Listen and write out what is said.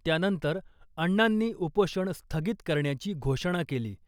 त्यानंतर अण्णांनी उपोषण स्थगित करण्याची घोषणा केली .